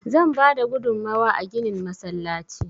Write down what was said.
Zan bada gudunmawa a ginin masallaci.